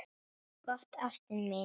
Gott, ástin mín.